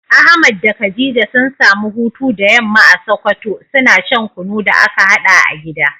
Ahmad da khadija sun samu hutu da yamma a sokoto, suna shan kunu da aka haɗa a gida.